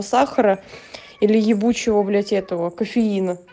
сахара или ебучего блять этого кофеина